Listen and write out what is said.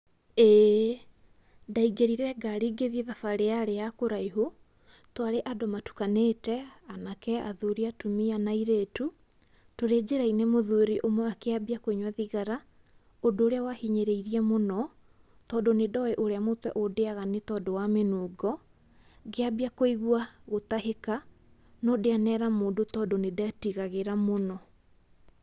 ĩĩ, ndaingĩrire ngari ngĩthiĩ thabarĩ ya kũraihu, twarĩ andũ matukanĩte, anake, athuri, atumia na airatu. Tũrĩ njĩra-inĩ mũthuri ũmwe akĩambia kũnyua thigara, ũndũ ũria wahinyĩrĩrie mũno, tondũ nĩndowĩ ũrĩa mũtwe ũndĩyaga nĩ tondũ wa mĩnungo. Ngĩambia kũigua gũtahĩka, no ndianera mũndũ tondũ nĩndetigagĩra mũno.